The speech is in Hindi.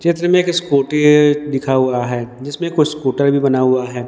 चित्र में एक स्कूटी है दिखा हुआ है जिसमें कुछ स्कूटर भी बना हुआ है।